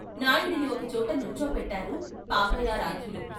నాయుడిని ఒకచోట నుంచో పెట్టారు పాపయ్యారాధ్యులు.